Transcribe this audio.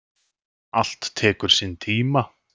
Allt tekur sinn tíma.